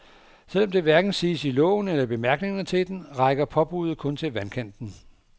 Selv om det hverken siges i loven eller i bemærkningerne til den, rækker påbudet kun til vandkanten.